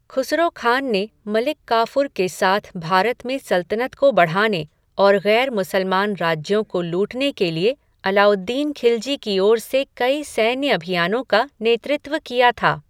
खुसरो खान ने मलिक काफ़ूर के साथ भारत में सल्तनत को बढ़ाने और गैर मुसलमान राज्यों को लूटने के लिए अलाउद्दीन खिलज़ी की ओर से कई सैन्य अभियानों का नेतृत्व किया था।